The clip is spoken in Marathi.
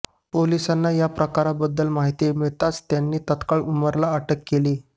पोलिसांना या प्रकाराबद्दल माहिती मिळताच त्यांनी तात्काळ उमरला अटक केली